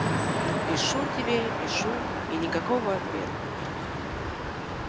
пишу тебе пишу и никакого ответа